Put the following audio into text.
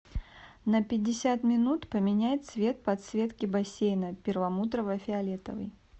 на пятьдесят минут поменяй цвет подсветки бассейна перламутрово фиолетовый